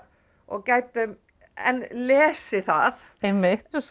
og gætum enn lesið það einmitt og svo